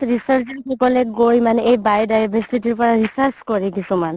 research ৰ সফলত গৈ মানে এই biodiversity ৰ পৰা research কৰে কিছুমান